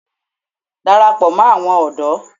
Darapọ̀ mọ́ àwọn ọ̀dọ́!